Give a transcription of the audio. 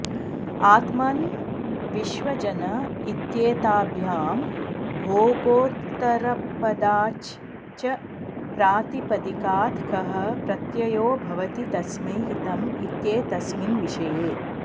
आत्मन् विश्वजन इत्येताभ्यां भोगोत्तरपदाच् च प्रातिपदिकात् खः प्रत्ययो भवति तस्मै हितम् इत्येतस्मिन् विषये